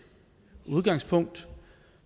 udgangspunkt